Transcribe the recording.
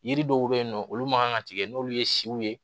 Yiri dɔw be yen nɔ olu ma kan ka tigɛ n'olu ye siw ye